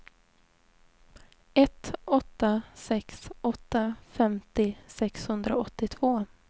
ett åtta sex åtta femtio sexhundraåttiotvå